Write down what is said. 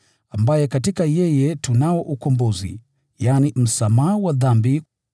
ambaye katika yeye tunao ukombozi, yaani msamaha wa dhambi.